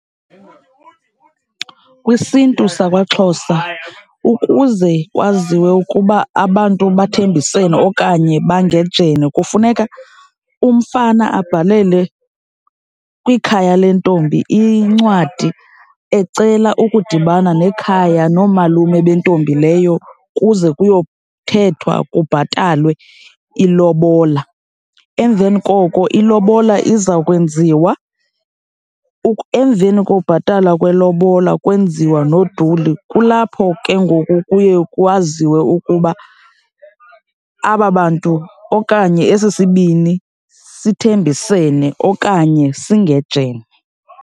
KwisiNtu sakwaXhosa ukuze kwaziwe ukuba abantu bathembisene okanye bangejene kufuneka umfana abhalele kwikhaya lentombi incwadi ecela ukudibana nekhaya, noomalume bentombi leyo kuze kuyothethwa, kubhatalwe ilobola. Emveni koko ilobola iza kwenziwa . Emveni kokubhatala kwelobola kwenziwa noduli, kulapho ke ngoku kuye kwaziwe ukuba aba bantu okanye esi sibini sithembisene okanye singejene.